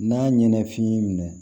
N'a ɲɛnɛ f'i y'i minɛ